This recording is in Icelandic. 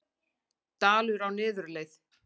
Dalur á niðurleið